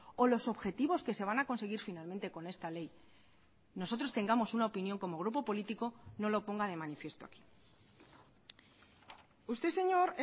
o los objetivos que se van a conseguir finalmente con esta ley nosotros tengamos una opinión como grupo político no lo ponga de manifiesto aquí usted señor